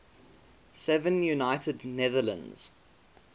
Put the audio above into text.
seven united netherlands